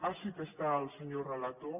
ah sí que hi és el senyor relator